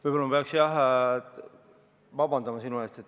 Võib-olla ma peaks, jah, sinult vabandust paluma.